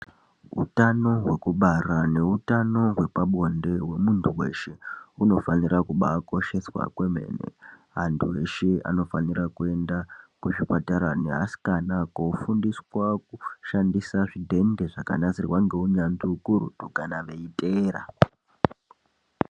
Utano hwekubara neutano hwepabonde hwemuntu weshe hunofanira kukosheswa yaambo. Antu eshe anofanira kuenda kuzvipatara neasikana kofundiswa kushandisa zvidhende zvakagadzirwa ngeukurutu kana veiteera.